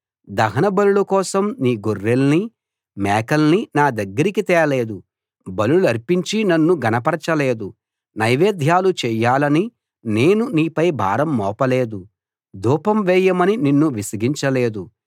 దహనబలుల కోసం నీ గొర్రెల్నీ మేకల్నీ నా దగ్గరికి తేలేదు బలులర్పించి నన్ను ఘనపరచలేదు నైవేద్యాలు చేయాలని నేను నీపై భారం మోపలేదు ధూపం వేయమని నిన్ను విసిగించలేదు